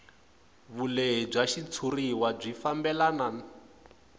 vulehi bya xitshuriwa byi fambelana